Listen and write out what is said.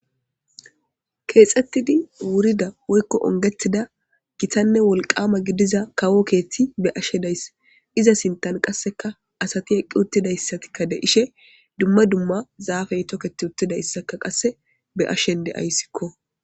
Keexettidi wurida woykko ongettida gitanne wolqama gidiza kawo keethti be ashe dayss iza sintan qasseka asati eqqi uttidayssatikka de ishe dumma dumma zaafey toketi uttidassaka qasse be ashen deayssikko